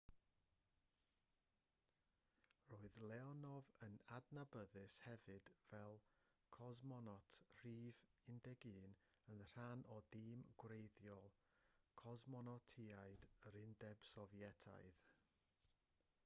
roedd leonov yn adnabyddus hefyd fel cosmonot rhif 11 yn rhan o dîm gwreiddiol cosmonotiaid yr undeb sofietaidd